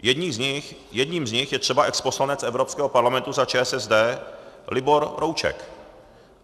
Jedním z nich je třeba exposlanec Evropského parlamentu za ČSSD Libor Rouček.